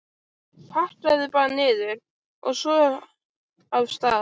Það gæti leynst hvítur hattur í einhverri gjótunni.